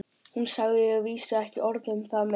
Hún sagði að vísu ekki orð um það meir.